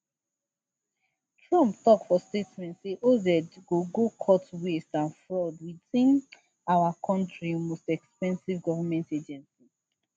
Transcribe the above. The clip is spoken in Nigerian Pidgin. trump tok for statement say oz go go cut waste and fraud within our kontri most expensive govment agency